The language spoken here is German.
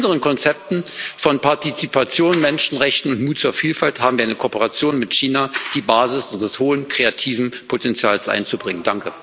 Und mit unseren Konzepten von Partizipation, Menschenrechten und Mut zur Vielfalt haben wir in eine Kooperation mit China die Basis des hohen kreativen Potenzials einzubringen.